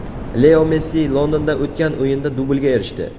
Leo Messi Londonda o‘tgan o‘yinda dublga erishdi.